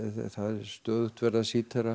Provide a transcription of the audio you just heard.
stöðugt verið að